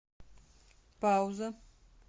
пауза